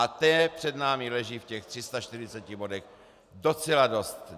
A té před námi leží v těch 340 bodech docela dost.